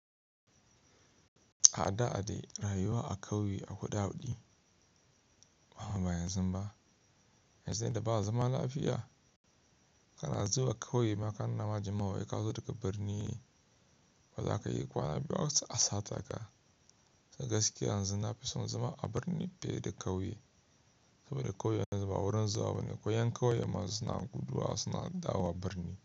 A da dai rayuwa a ƙauye akwai daɗi. Amma ba yanzu ba, yanzu yadda ba zaman lafiya. Kana zuwa ƙauye ma ka nunawa jama'a wau ka zo daga birni, ba zaka yi kwana biyu za a saceka. Ga gaskiya yanzu na fi son zama a birni fiye da ƙauye. Saboda ƙauye yanzu ba wurin zuwa ba ne, ko yan ƙauye ma suna guduwa suna dawowa birni.